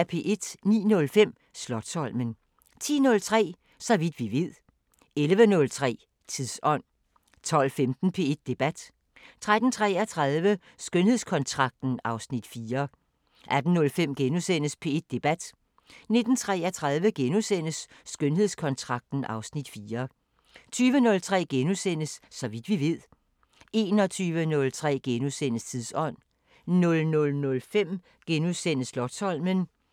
09:05: Slotsholmen 10:03: Så vidt vi ved 11:03: Tidsånd 12:15: P1 Debat: 13:33: Skønhedskontrakten (Afs. 4) 18:05: P1 Debat: * 19:33: Skønhedskontrakten (Afs. 4)* 20:03: Så vidt vi ved * 21:03: Tidsånd * 00:05: Slotsholmen *